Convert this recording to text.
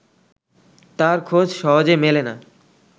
তার খোঁজ সহজে মেলে না